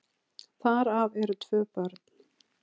Þar af eru tvö börn.